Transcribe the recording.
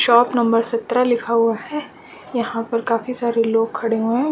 Shop number सत्रह लिखा हुआ है यहाँ पर काफी सारे लोग खड़े हुए हैं।